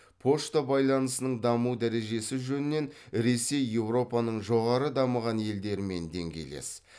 пошта байланысының даму дәрежесі жөнінен ресей еуропаның жоғары дамыған елдерімен деңгейлес